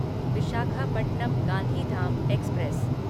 Visakhapatnam Gandhidham express